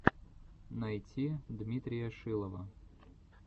найти дмитрия шилова